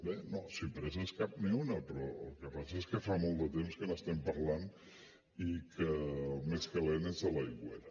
bé no si presses cap ni una però el que passa és que fa molt de temps que n’estem parlant i que el més calent és a l’aigüera